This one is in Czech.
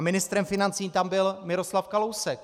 A ministrem financí tam byl Miroslav Kalousek.